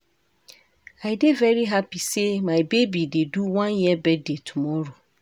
I dey very hapi sey my baby dey do one year birthday tomorrow.